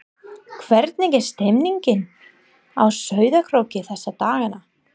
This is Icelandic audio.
Hvernig er stemningin á Sauðárkróki þessa dagana?